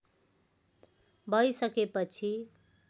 भै सके पछि